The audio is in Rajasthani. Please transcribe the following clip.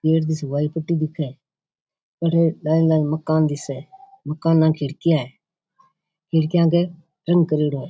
वाइट पुट्टी दिखे अठे नए नए मकान दिखे मकान न खिड़किया है खिड़किया पे रंग करेडो है।